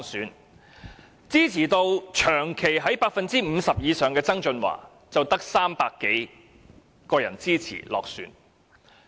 反而支持度長期在 50% 以上的曾俊華，卻只得300多人投票支持而落選。